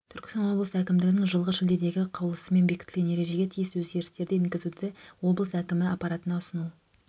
түркістан облысы әкімдігінің жылғы шілдедегі қаулысымен бекітілген ережеге тиісті өзгерістерді енгізуді облыс әкімі аппратына ұсыну